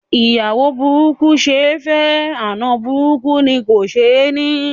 Ìyàwó burúkú ṣe ẹ́ fẹ́, àna burúkú ni kò ṣe ẹ́ ní.